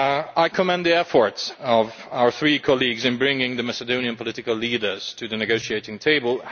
I commend the efforts of our three colleagues in bringing the Macedonian political leaders to the negotiating table.